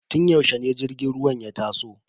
Tun yaushe ne jirgin ruwan ya taso?